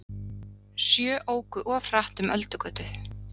Sjö óku of hratt um Öldugötu